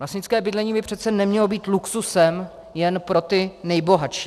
Klasické bydlení by přece nemělo být luxusem jen pro ty nejbohatší.